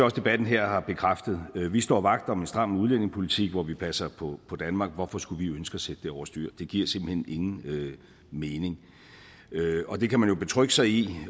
at debatten her har bekræftet vi står vagt om en stram udlændingepolitik hvor vi passer på på danmark hvorfor skulle vi ønske at sætte det over styr det giver simpelt hen ingen mening det kan man jo betrygge sig i